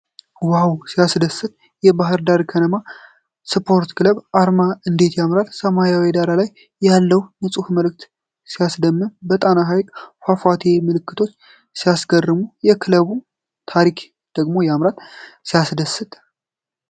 ዋው! ሲያስደስት! የባህር ዳር ከነማ ስፖርት ክለብ አርማ እንዴት ያምራል! በሰማያዊ ዳራ ላይ ያለው ንፁህ ምልክት ሲያስደምም! የጣና ሐይቅና ፏፏቴ ምልክቶች ሲያስገርሙ! የክለቡ ታሪክ ደግሞ ያምራል። ሲያስደስት!